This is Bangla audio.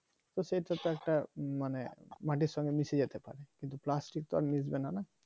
তো সেই থেকে একটা মানে মাটির সঙ্গে মিশে যেতে পারে কিন্তু plastic তো আর মিস বেনা না